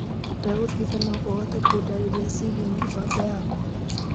Ndagũthaitha no ũhote kũndarĩria ciĩagiĩ mĩbango yakwa.